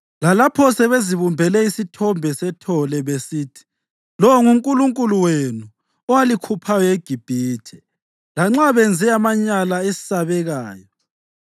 lalapho sebezibumbele isithombe sethole besithi, ‘Lo ngunkulunkulu wenu owalikhuphayo eGibhithe,’ lanxa benze amanyala esabekayo.